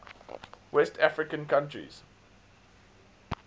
west african countries